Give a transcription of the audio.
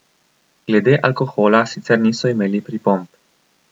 Glede alkohola sicer niso imeli pripomb.